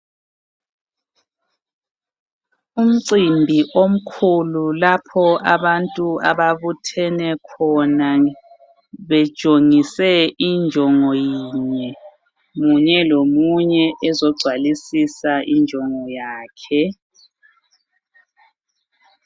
Umcimbi omkhulu lapho abantu ababuthene khona bejongise injongo yinye munye lomunye ezogcwalisisa injongo yakhe.